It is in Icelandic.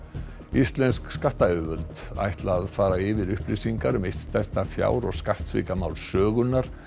íslensk skattayfirvöld ætla að fara yfir upplýsingar um eitt stærsta fjár og skattsvikamál sögunnar